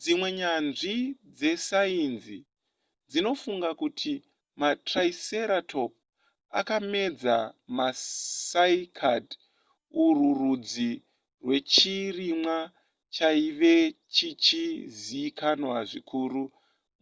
dzimwe nyanzvi dzesainzi dzinofunga kuti matriceratop akamedza macycad urwu rudzi rwechirimwa chaive chichizikanwa zvikuru